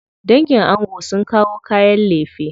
Dangin ango sun kawo kayan lefe.